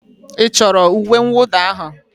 Ị chọrọ uwe mwụda ahụ?